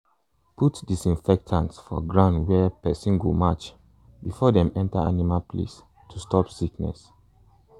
put disinfectant for ground where person go match before dem enter animal place to stop sickness.